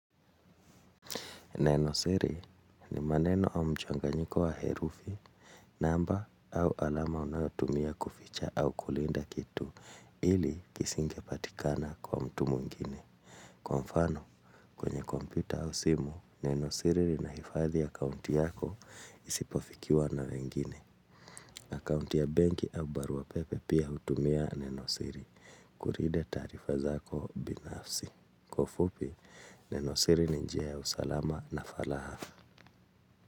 Nenosiri ni maneno au mjanganyiko wa herufi, namba au alama unayotumia kuficha au kulinda kitu, ili kisingepatikana kwa mtu muingine. Kwa mfano, kwenye kompyuta au simu, nenosiri linahifadhi akaunti yako isipofikiwa na wengine. Akaunti ya banki au barua pepe pia utumia nenosiri, kurida tarifa zako binafsi. Kwa ufupi, nenosiri ni nija ya usalama na falahafa.